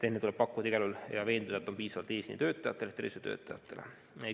Enne tuleb igal juhul veenduda, et vaktsiini on piisavalt eesliinitöötajatele ehk tervishoiutöötajatele.